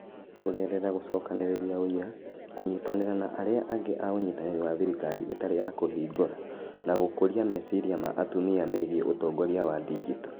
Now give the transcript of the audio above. Kũgerera gũcokanĩrĩria ũira, kũnyitanĩra na arĩa angĩ a Ũnyitanĩri wa Thirikari Ĩtarĩ ya Kũhingũra, na gũkũria meciria ma atumia megiĩ ũtongoria wa digito.